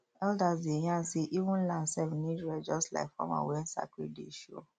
elders dey yarn say even land sef need rest just like farmer when sacred day show